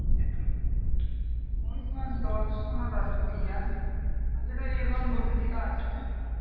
ওই তোমার দর্শন আর রাষ্ট্রবিজ্ঞান আর যেটা বলছে ওইটা আছে।